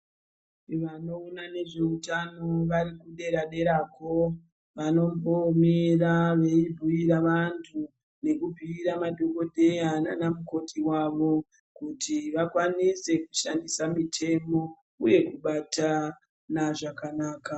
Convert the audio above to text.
Vanoona nezveutano vari kudera dera kwo, vanombomira veibhiira vantu nekubhiirwa madhokodheya nanamukoti wavo kuti vakwanise kushandisa mitembo uye nekubata vana zvakanaka.